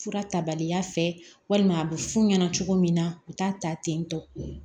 Fura ta baliya fɛ walima a bɛ fu ɲɛna cogo min na u t'a ta tentɔ